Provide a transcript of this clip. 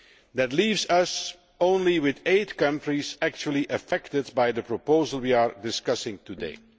That leaves us with only eight countries actually affected by the proposal we are discussing today.